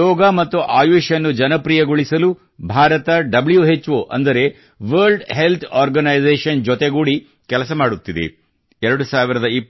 ಯೋಗ ಮತ್ತು ಆಯುಷ್ ಅನ್ನು ಜನಪ್ರಿಯಗೊಳಿಸಲು ಭಾರತ WHOಅಂದರೆ ವರ್ಲ್ಡ್ ಹೆಲ್ತ್ ಆರ್ಗನೈಸೇಶನ್ ವಿಶ್ವ ಆರೋಗ್ಯ ಸಂಸ್ಥೆಯ ಜೊತೆಗೂಡಿ ಕೆಲಸ ಮಾಡುತ್ತಿದೆ